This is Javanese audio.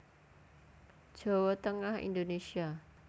Jawa Tengah Indonésia